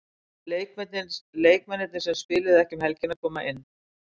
Leikmennirnir sem spiluðu ekki um helgina koma inn.